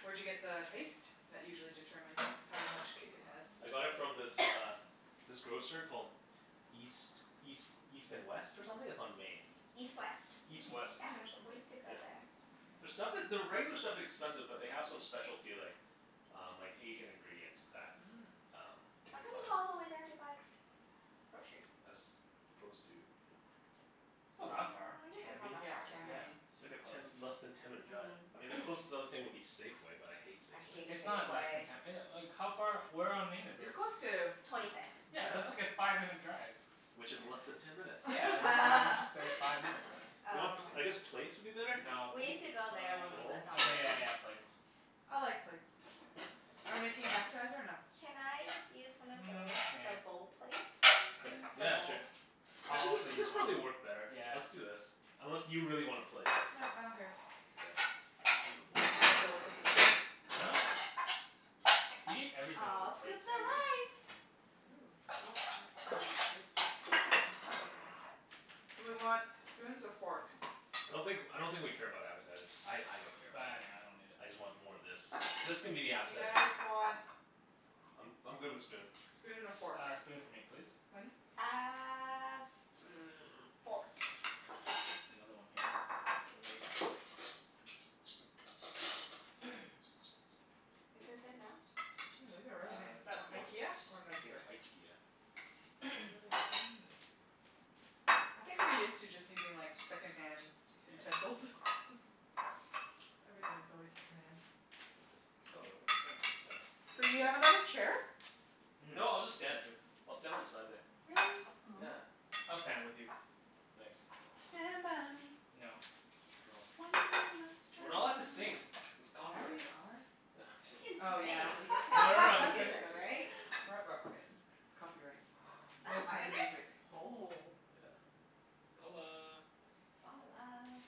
Where'd you get the paste? That usually determines how much kick it has. I got it from this uh this grocer called East East East and West, or something? It's on Main. East West. East Hmm. West, Oh Yeah. or yeah? We something, used to go yeah. there. Their stuff is, their regular stuff expensive but they have some specialty like um like Asian ingredients that Mm. um you How can come find. you go all the way there to buy groceries? As opposed to? It's not Where? Well, that far. I guess it's not Cambie. that Yeah. far, Cambie, yeah. Yeah, Main. It's like super a close. ten, less than ten minute drive. Mm. I mean the closest other thing would be Safeway, but I hate I Safeway. hate It's not less than Safeway. ten e- like how far, where on Main is You're it? close to, oh no, Twenty fifth. Yeah, that's like wait. Yeah. a five minute drive. Which is less than Yeah. ten minutes. Yeah, just why didn't you say five minutes then? Do you want, Um I guess plates would be better? No, We bowl used to go there when we Bowl? lived uh, on okay yeah Main. yeah yeah plates. I like plates. Are we making an appetizer or no? Can I use one of Mm, those? nah. The bowl plates? The Yeah, bowls? sure. I I'll think this also use this one. probably work better. Yeah. Let's do this. Unless you really want a plate? No, I don't care. Okay, we'll just use the bowls I go with then. the flow. Huh? You eat everything with I'll a plate, scoop the Susan. rice. Ooh. Oh, that's not a scoop. This'll do. That's okay. It's It's thick sticky enough. enough. Do we want spoons or forks? I don't think, I don't think we care about appetizers. I I don't care about Bah, them. nah, I don't need it. I just want more of this. This can be the You appetizer. guys want I'm I'm good with spoon. spoon and a fork. S- uh spoon for me, please. Wenny? Uh, hmm, fork. Another one here for later. Is this enough? Mm, these are really Uh nice. You that's want good. more? IKEA, or Thank you. nicer? IKEA. They're really thin. I think we're used to just using like second-hand utensils. Everything is always second-hand. Take this. Oh Oh, really? thanks. So, do you have Yeah. another chair? Mmm, No, I'll just stand. that's good. I'll stand on the side there. Really? Yeah. Oh. I'll stand with you. Thanks. Stand by me. No. No. When you're not We're not allowed to strong. sing. It's Yeah, copyright. we are. We Just, can Oh, yeah. sing, we just can't no no listen no to just kidding. There's music, Just copy. kidding. right? Right, right, right. Copyright. Is that No a playing Vitamix? music. Oh. Yeah. Balla. Ballah.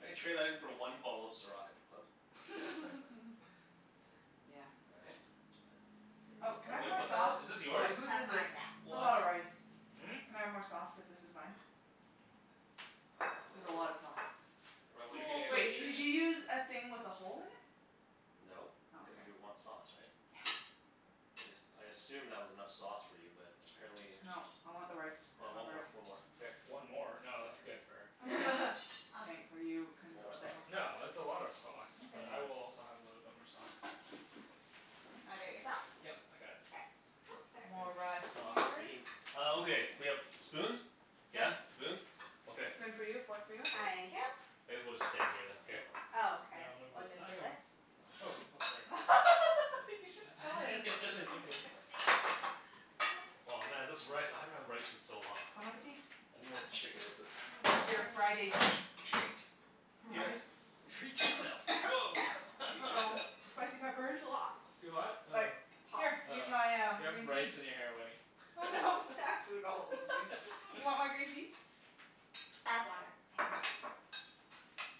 I could trade that in for one bottle of Ciroc at the club. Yeah. All right. And that. Whose Oh, can I is have Wait, more what this? the sauce? hell? Is this Oh, wait. yours? Whose That's is this? mine, yeah. It's a lot What? of rice. Hmm? Can I have more sauce, if this is mine? Mm. There's a lot of sauce. Well, what are you gonna More, get for Wait. Did please. chicken? you use a thing with a hole in it? No, Oh, cuz okay. you want sauce, right? Yeah. I just, I assumed that was enough sauce for you, but apparently Nope. I want the rice Oh, one more, covered. one more. Here. One more? No, Yeah. that's good for her. That's good. I'll scoop Thanks. Are you con- a Want more little bit more sauce? sauce No, in Yeah. that's a lot of it. sauce, but Where's Okay. I mine? will also have a little bit more sauce. Do you wanna do it yourself? Yep, I got it. K. Oops, You guys More sorry. rice are sauce here. fiends. Oh, okay. We have spoons? Yes. Yeah, spoons? Okay. Spoon for you, fork for you. Good. Thank you. I guess we'll just stand here then. Yeah. Yep. Oh, Here, okay. I'll move We'll with, just I do got one. this. Oh, oh sorry. Thanks. He just stole I his. guess I took it. There. Oh man, this rice. I haven't had rice in so long. Bon appetit. I need more chicken with I this. This love is your rice. Friday treat. Yeah. Rice. Treat yourself. Woah. Treat uh-oh. yourself. Spicy peppers? Too hot. Too hot? Oh. Like hot. Here, I Oh. use my um You have green rice tea. in your hair, Wenny. Oh no. have food all over me. You want my green tea? I have water, Okay. thanks.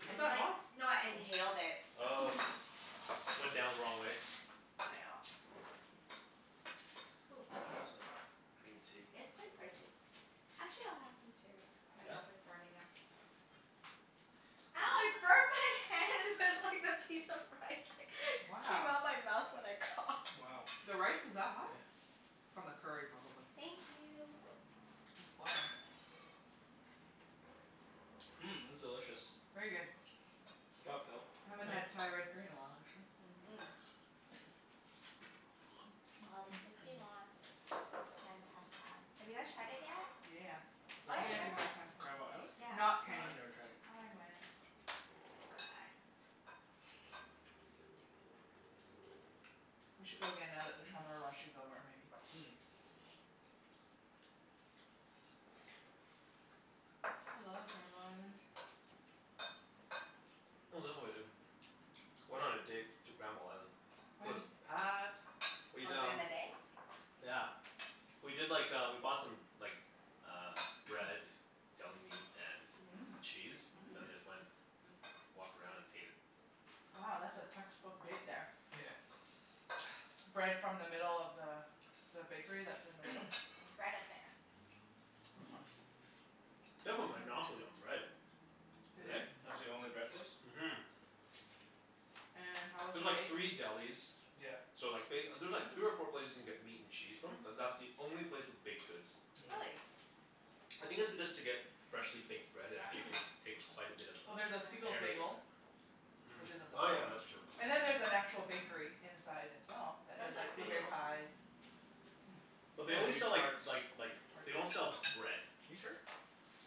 Is I it just that like, hot? no I Huh. inhaled it. Oh. Went down the wrong way? Nyeah. Hoo. Better have some green tea. It is quite spicy. Actually, I'll have some too. My Yeah? mouth is burning up. Ow, I Hmm. burned my hand with like the piece of rice that came Wow. out of my mouth when I coughed. Wow. The Yeah. rice is that hot? Yeah. From the curry, probably. Thank No you. problem. It's boiling. Mmm, this is delicious. Very good. Good job, Phil. Haven't had Yeah. Thai red curry in a while, actually. Mhm. Yeah. Aw, this makes me want Sen Pad Thai. Have you guys tried it yet? Yeah, yeah, Is Oh that the yeah, you one, guys yeah. went last time. Granville Island? Yeah. No, Not Kenny. I've never tried it. I went. So good. We should go again now that the summer rush is over, maybe? Mm. I love Granville Island. Oh, is that what I did? Went on a date to Granville Island. It was When? packed. Oh, We'd during um the day? Yeah. We did like uh, we bought some like uh bread. Deli meat Mhm. and Mmm. cheese. And then Mhm. Mmm. just went, just walked around and ate it. Oh, that's a textbook date, there. Yeah. Bread from the middle of the the bakery that's in the middle? Bread Affair. Oh. They have a monopoly on bread. They Do do? they? That's the only bread place? Mhm. And how was the There's like bake? three delis Yep. so like ba- there's three or Mhm. four places you can get meat and cheese from, but that's the only place with baked goods. Mm. Really? I think it's because to get freshly baked bread it actually take takes quite a bit of Well, there's a uh Siegel's Yeah. area. Bagel. Mm, Which isn't the oh yeah, same. that's true. And then there's an actual bakery inside, as well, that There's does a like blueberry few. pies. Mmm. But they Yeah, we only do sell like tarts. like like, they Tarts. don't sell bread. You sure?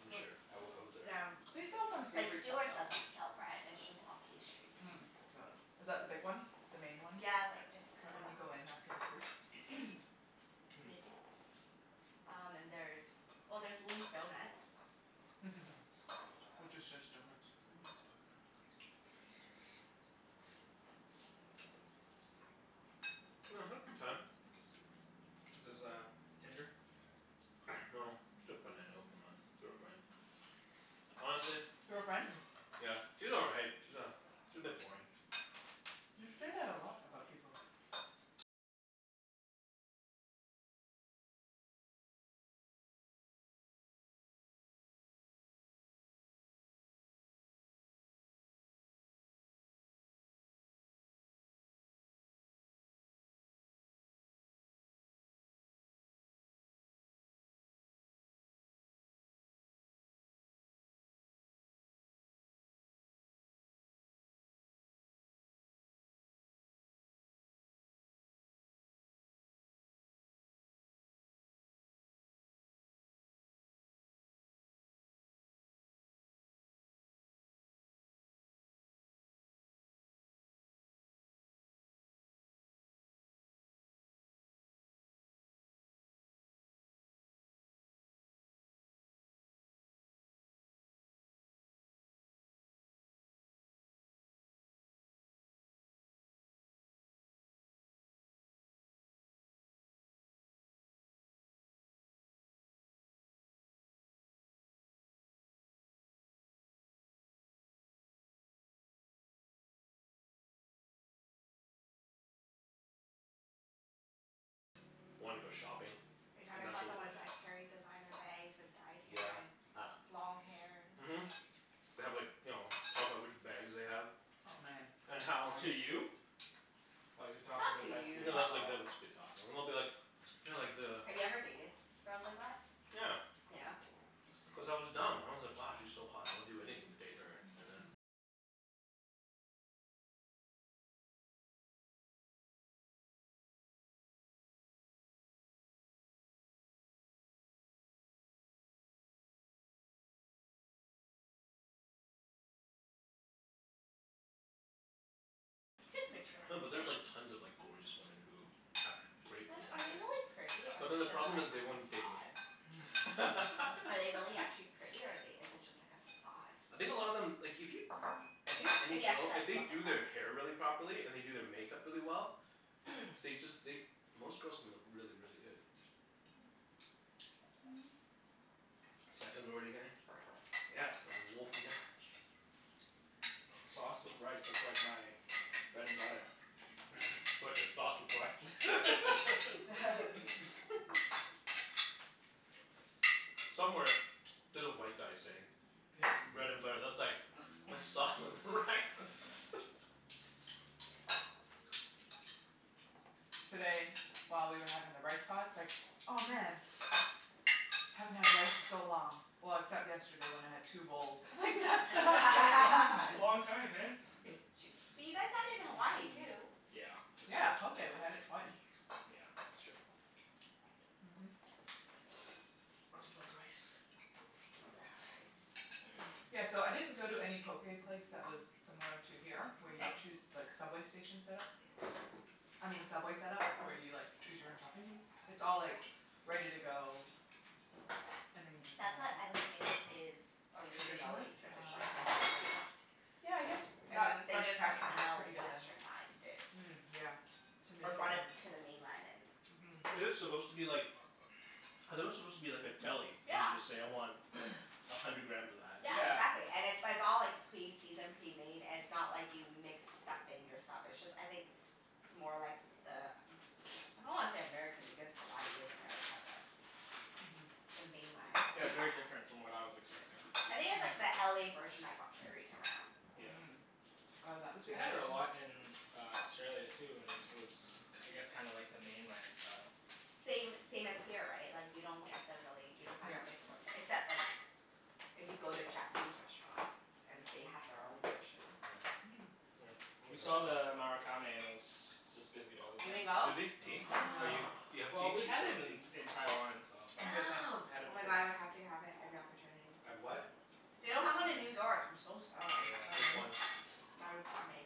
I'm No, sure. I oh. w- I was there. Yeah. They sell some Like savory stuff, Stewart's though. doesn't sell bread. It's just all pastries. Mm. Mm is that the big one? The main one? Yeah, like it's Right kinda when you go in, after the fruits? Mm. Maybe. Um and there's, well there's Lee's Donuts. Which is just donuts. Mhm. I had a good time. No, Is this just a uh Tinder? girl I know from uh, through a friend. Honestly Through a friend? Yeah, she's all right. She's a she's a bit boring. You say that a lot about people. Are you talking about the ones that carry designer bags with dyed hair Yeah, and ah. long hair and Mhm. They have like, you know, talk about which bags they have. Oh man And how To you? Like, they're talking Not about to that to you, No, you? that's like, though. they'll just be talking. And they'll be like you know like the Have you ever dated girls like that? Yeah. Yeah? Cuz I was dumb. I was like, "Wow, she's so hot. I would do anything to date her." And then Just No, but there's like materialistic. tons of like gorgeous women who have great Then are they personalities. really pretty, or But is then the it just problem like is a they won't date me. facade? Hmm? What? Are they really actually pretty or are they, is it just like a facade? I think a lot of them, like if you I think If any you actually girl, if like look they at do them? their hair really properly, and they do their makeup really well they just, they, most girls can look really, really good. Seconds already getting? Yeah. There's a wolf in there? Sauce with rice. That's like my bread and butter. Sauce with rice. Somewhere there's a white guy saying bread and butter, that's like my sauce with rice. Today, while we were having the rice pot, it's like, "Oh, man!" "Haven't had rice in so long. Well, except yesterday when I had two bowls." I'm like, "That's not very long, That's a then." long time, man. Bu- ch- but you guys had it in Hawaii too. Yeah, that's Yeah, true. poké. We had it twice. Yeah, that's true. I Mhm. just like rice. Love rice. Yeah, so I didn't go to any poké place that was similar to here where you choo- like, subway station set-up. I uh-huh. mean Subway set-up, where you like Mhm. choose your own toppings. Mhm. It's all like ready to go and then you just get That's on the what I think subway. is is Traditionally? originally Ah, traditionally okay. in Hawaii. Yeah, I guess And that then they Fresh just like Catch one is kinda pretty good then. Westernized it. Mm, yeah. To make Or it more brought it to the mainland and Mhm. Is it supposed to be like I thought it was supposed to be like a deli, and Yeah. you just say, "I want a hundred grams of that." Yeah, Yeah. exactly. And it it's all like pre-seasoned, pre-made. It's not like you mix stuff in yourself. It's just I think more like the Am- I don't wanna say American, because Hawaii is America, but Mhm. the mainland. Yeah, it's very different from what I was expecting. I think it's like the LA version that got carried around. Yeah. Mm. Oh, that? Cuz we had it a lot in uh Australia, too, and it was k- I guess kinda like the mainland style. Same same as here, right? Like you don't get the really, you don't find Yep. the mixed ones. Except like if you go to a Japanese restaurant. And they have their own version. Mm. We saw the Marukame and it was just busy all the You didn't time. go? Susie, tea? No. Are No. you, do you have Well, tea? Do we you had still it want in tea? in Taiwan, so I'm good, thanks. Damn. we Oh had it my god, before. I would have to have it every opportunity. Have what? Mhm. They don't have one in New Marukame. York. I'm so sad. Oh, Which Yeah. really? one? Marukame.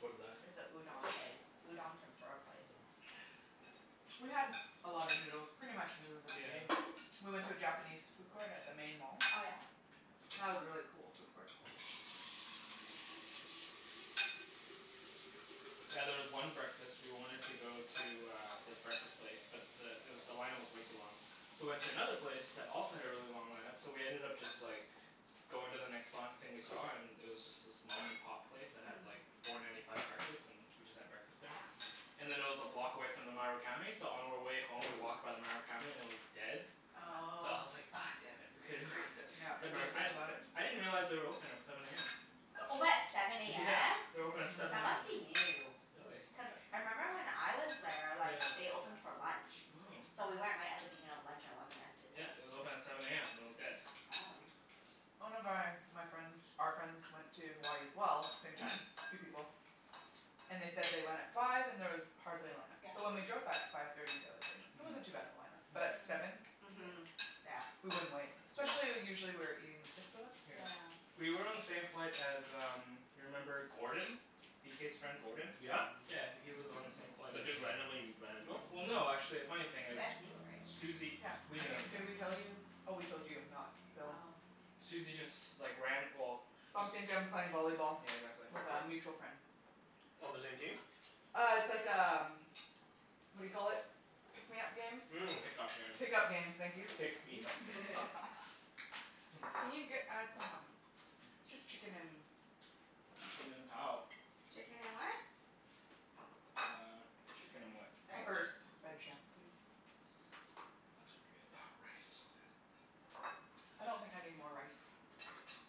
What is that? It's a udon place. Udon tempura place. We had a lot of noodles. Pretty much noodles every Yeah. day. We went to a Japanese food court at the main mall. Oh yeah? That was a really Oh. cool food court. Yeah, there was one breakfast, we wanted to go to uh this breakfast place but the it w- the line up was way too long. So we went to another place that also had a really long line up. So we ended up just like going to the next li- thing we saw and it was just this mom and pop place that had like Hmm. four ninety five breakfast. And we just had breakfast there. Yeah. And then it was a block away from the Marukame so on our way home we walked by the Marukame and it was dead. So I Oh. was like, ah damn it. We coulda we Yep. could We had more, didn't I think about it. I didn't realize they were open at seven a m. They're open at seven a Yeah. m? They're open at Mhm. seven That a m. must be new. Really? Cuz I member when I was there, like Yeah. they opened for lunch. Mm. So we went right at the beginning of lunch and it wasn't as Yeah, busy. it was open at seven a m and it was dead. Oh. One of my my friends, our friends went to Hawaii as well. Same time. Three people. And they said they went at five and there was hardly a line up. So when Yeah. we drove by at five thirty the other day, Hmm. it Mm. wasn't too bad of a line up. But at seven? Mm. Li- Mhm. Yeah. we wouldn't wait. Yeah. Especially usually we were eating, the six of us. Yeah. Yeah. We were on the same flight as um you remember Gordon? B k's friend, Gordon? Yeah? Yeah. W- he was on the same flight as But us. just randomly ran into him? Well no, actually, a funny thing You is guys knew, right? Susie, Yeah. we I knew him, think, yeah. did we tell you? Oh, we told you, not Phil. Oh. Susie just like ran, well just Bumped into him playing volleyball Yeah, exactly. with a mutual friend. On the same team? Uh, it's like um what do you call it? Pick me up games? Mm. Pick up games. Pick up games. Thank you. Pick me up games. Can you get add some um Just chicken and peppers, please? Chicken and cow. Chicken and what? Uh, chicken and what? Veg? Peppers. please? That should be good, Oh, yeah. rice is so Thanks. good. I don't think I need more rice.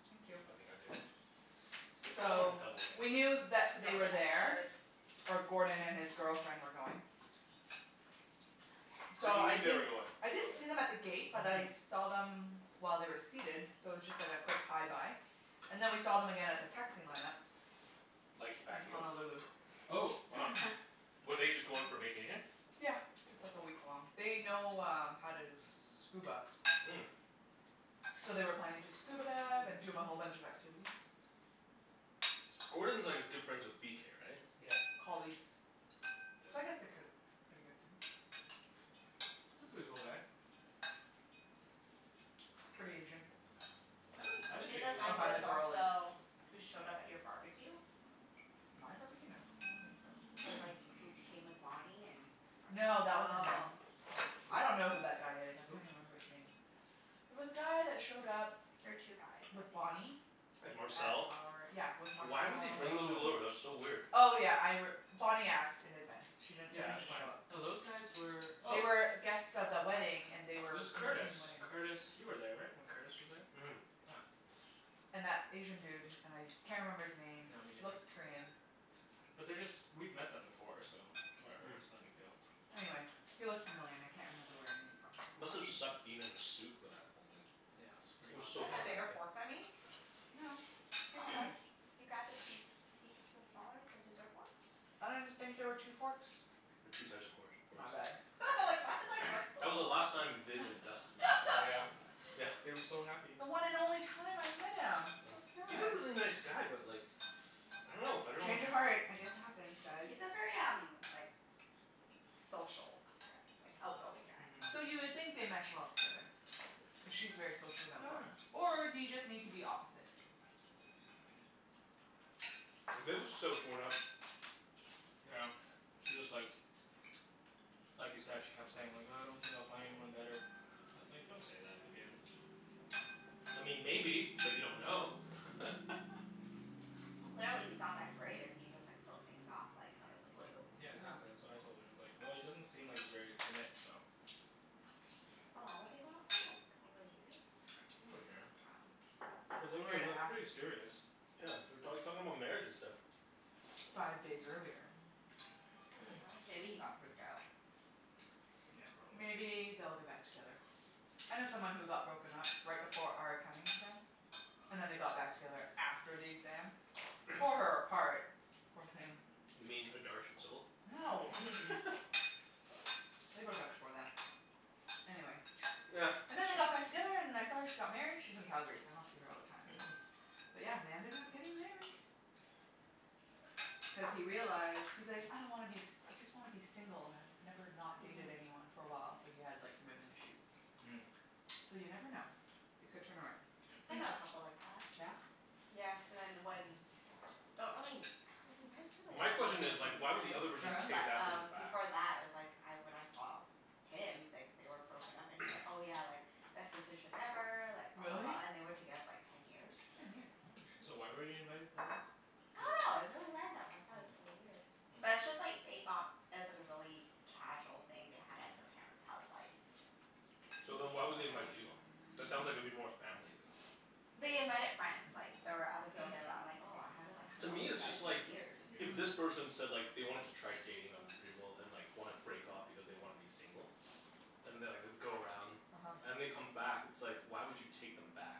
Thank you. I think I do. Good call on the So, double, we Kenny. knew that they Don't were think I there should. or Gordon and his girlfriend were going. So So you I Okay, knew fine. they were didn't going? I didn't Okay. see them at the gate but I Mhm. saw them while they were seated so it was just like a quick hi bye. And then we saw them again at the taxi line up. Like, back In here? Honolulu. Oh, wow. Were they just going for vacation? Yeah, just like a week long. They know um how to scuba. Mm. So they were planning to scuba dive and do a whole Mmm. bunch of activities. Gordon's like a good friends with b k, right? Yep. Colleagues. So I Yeah. guess they're ki- k- pretty good friends. He's a pretty cool guy. Pretty Asian. I don't, I Was didn't he think the he was I guy who super find the was Asian. girl is. also, who showed up at your barbecue? My barbecue? No, I don't think so. With like, who came with Bonnie and No, that wasn't him, Oh. no. I don't know who that guy is. I Who? There Who? can't even remember his name. There was a guy that showed up were two guys, I with Bonnie think. And at Marcel? our, yeah, with Marcel. Why would they bring those people Oh. over? That's so weird. Oh, yeah, I r- Bonnie asked in advance. She didn't, they Yeah, didn't that's just show fine. up. No, those guys were They oh were guests of the wedding, and they It were was in Curtis. between wedding. Curtis you were there, right? When Curtis was there? Yeah. And that Asian dude. And I can't remember his name. No, me He neither. looks Korean. But they're just, we've met them before, so whatever. It's no big deal. Mm. Anyway, he looked familiar and I can't remember where I knew him from. Must have sucked being in a suit for that whole thing. Yeah, it's pretty It was Do hot so you have back a hot bigger there. that day. fork than me? No, same Oh. size. You grabbed the key s- key the smaller, the dessert forks? I didn't think there were two forks. There's two size of course forks. My bad. I was like why is my fork so That was the small? last time Viv and Dustin were Yeah. together. Yeah. They were so happy. The one and only time I met him. So Yeah. He's a sad. really nice guy but like I don't know. I don't know what Change of uh heart. I guess it happens, guys. He's a very um like social guy. Like, outgoing guy. Mhm. So you would think they mesh well together. Cuz she's very social and outgoing. Or do you just need to be opposite? Yeah. Viv was so torn up. Yeah, she was like like you said, she kept saying like, "Uh I don't think I'll find anyone better." I was like, "Don't say that, Vivienne." I mean maybe, but you don't know. Well clearly he's not that great if he just like broke things off like out of the blue. Yeah, uh-huh. exactly. That's what I told her. I was like, "Well, he doesn't seem like he's ready to commit, so" How long were they going out for? Like over a year? Over a year. But they Year were and a like half. pretty serious. Wow. Yeah, they were talk talking about marriage and stuff. Five days earlier. That's so bizarre. Maybe he got freaked out. Yeah, probably. Maybe they'll get back together. I know someone who got broken up right before our accounting exam. And then they got back together after the exam. Tore her apart, poor thing. You mean No. They broke up before that. Anyway. And then they got back together and I saw her, she got married. She's in Calgary so I don't see her all the time. But yeah, they ended up getting married. Cuz he realized, he's like, "I don't wanna be s- I just wanna be single." "I've never not dated anyone for a while." So he had like commitment issues. Mm. So you never know. It could turn around. Mhm. I know a couple like that. Yeah? Yeah, cuz I Don't really, I was invited to the My wedding, question for is like why would the some reason. other Oh person yeah? take But that person um back? before that I was like I, when I saw him, like they were broken up and he's like, "Oh yeah, like best decision ever, like blah, blah, Really? blah," and they were together for like ten years. Ten years? Holy shit. So why were you invited for the wedding? I dunno. It was Di- really random. I thought it was really weird. But Yeah. it's Hmm. just like they got it was like a really casual thing they had at their Mm. parents' house like k- So excuse me. then It why was at would they the invite house. you? That sounds like it'd be more family than They invited friends. Like there were other people there, but I'm like, "Oh, I haven't like To hung out me, with you it's guys just like in Yeah. years." if this Mhm. person said like they wanted to try dating other people and like wanna break off because they wanna be single. And they'll like go around uh-huh. and they come back. It's like why would you take them back?